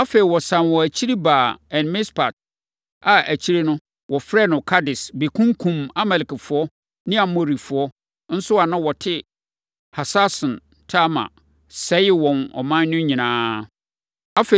Afei, wɔsane wɔn akyiri baa En-Mispat a, akyire no, wɔfrɛɛ no Kades bɛkunkumm Amalekfoɔ ne Amorifoɔ nso a na wɔte Hasason-Tamar, sɛee wɔn ɔman no nyinaa.